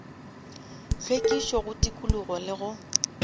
hlwekišo go tikologo le go